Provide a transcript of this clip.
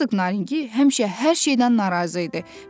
Herq Naringi həmişə hər şeydən narazı idi.